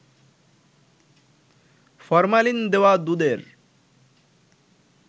formalin দেওয়া দুধের